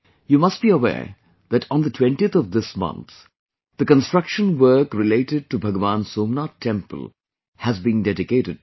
You must be aware that on the 20th of this month the construction work related to Bhagwan Somnath temple has been dedicated to the people